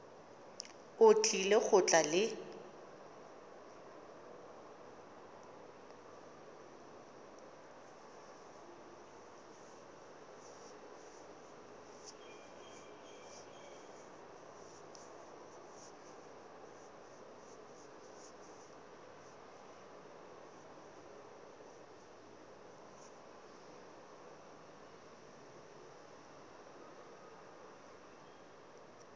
o tlile go tla le